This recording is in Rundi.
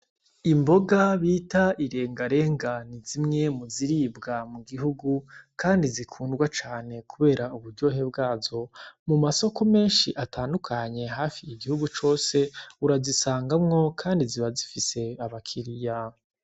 Imboga bita irengarenga ni zimwe mu ziribwa mu gihugu kandi zikundwa cane kubera uburyohe bwazo, mu masoko menshi atandukanye hafi mu igihugu cose urazisangamwo kandi ziba zifise abakiriya.